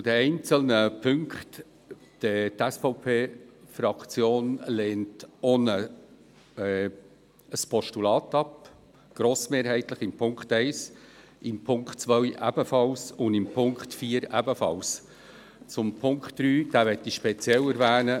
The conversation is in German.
Zu den einzelnen Punkten: Die SVP-Fraktion lehnt auch ein Postulat ab, grossmehrheitlich in Punkt 1, in Punkt 2 ebenfalls und ebenfalls in Punkt 4. Punkt 3 möchte ich speziell erwähnen.